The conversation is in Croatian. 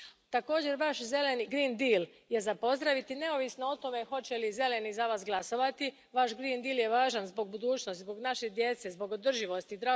Također, Vaš zeleni green deal je za pozdraviti, neovisno o tome hoće li Zeleni za Vas glasovati, Vaš green deal je važan zbog budućnosti, zbog naše djece, zbog održivosti.